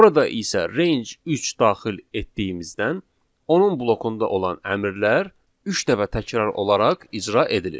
Burada isə range 3 daxil etdiyimizdən onun blokunda olan əmrlər üç dəfə təkrar olaraq icra edilir.